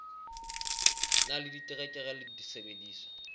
na le diterekere le disebediswa